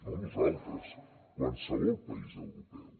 no nosaltres qualsevol país europeu